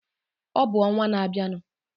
Ọ bụ n'ọnwa na-abịanu.